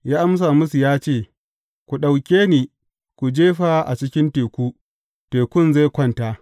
Ya amsa musu ya ce, Ku ɗauke ni ku jefa a cikin teku, tekun zai kwanta.